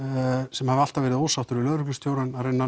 sem hafa alltaf verið ósáttir við lögreglustjórann að reyna að